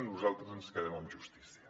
nosaltres ens quedem amb justícia